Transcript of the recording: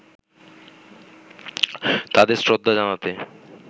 তাদের শ্রদ্ধা জানাতে